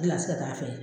Gilasi ka taa fɛ